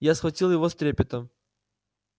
я схватил его с трепетом